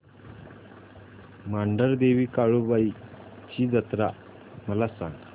मांढरदेवी काळुबाई ची जत्रा मला सांग